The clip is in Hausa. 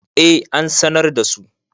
eh an sanar da su